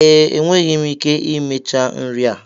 Ee, enweghị m ike imecha nri a.